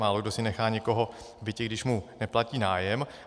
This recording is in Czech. Málokdo si nechá někoho v bytě, když mu neplatí nájem.